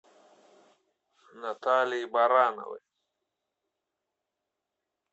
наталии барановой